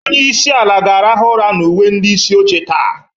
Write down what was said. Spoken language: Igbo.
Onye isi ala ga-arahụ ụra na uwe ndị isi oche taa.